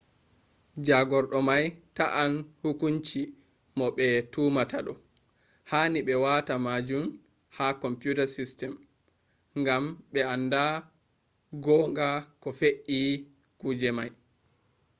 jagordo mai ta`i hukunci mo be tumata do. hani be wata majun ha computer system gam be anda gon ga ko fef`i kujiji mai